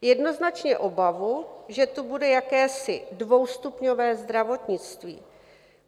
Jednoznačně obavu, že tu bude jakési dvoustupňové zdravotnictví.